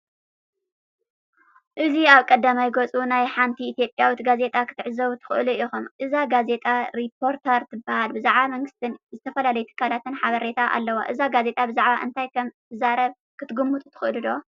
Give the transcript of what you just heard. እዚ ኣብ ቀዳማይ ገጽ ናይ ሓንቲ ኢትዮጵያዊት ጋዜጣ ክትዕዘቡ ትኽእሉ ኢኹም። እዛ ጋዜጣ "ሪፖርተር" ትበሃል፣ ብዛዕባ መንግስትን ዝተፈላለዩ ትካላትን ሓበሬታ ኣለዋ። እዛ ጋዜጣ ብዛዕባ እንታይ ከም እትዛረብ ክትግምቱ ትኽእሉ ዶ?